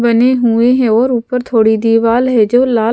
बने हुए हैं और ऊपर थोड़ी दीवार है जो लाल--